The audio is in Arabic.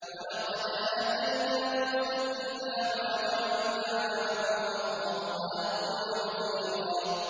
وَلَقَدْ آتَيْنَا مُوسَى الْكِتَابَ وَجَعَلْنَا مَعَهُ أَخَاهُ هَارُونَ وَزِيرًا